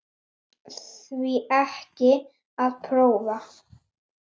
Því ekki að prófa?